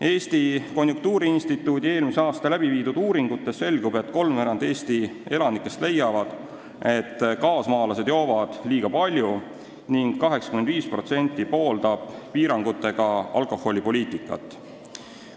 Eesti Konjunktuuriinstituudi eelmisel aastal tehtud uuringutest selgub, et kolmveerand Eesti elanikest leiavad, et kaasmaalased joovad liiga palju, ning 85% pooldab piirangutega alkoholipoliitikat.